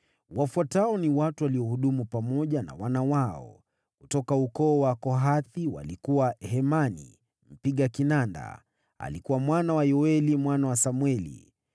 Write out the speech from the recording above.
Wafuatao ni watu waliohudumu pamoja na wana wao: Kutoka ukoo wa Kohathi walikuwa: Hemani, mpiga kinanda, alikuwa mwana wa Yoeli, mwana wa Samweli,